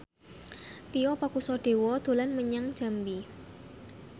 Tio Pakusadewo dolan menyang Jambi